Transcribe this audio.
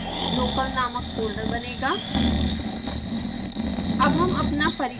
scilab codes local नामक folder बनेगा